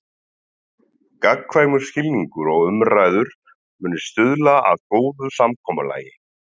Gagnkvæmur skilningur og umræður muni stuðla að góðu samkomulagi.